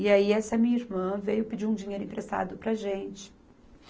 E aí, essa minha irmã veio pedir um dinheiro emprestado para a gente.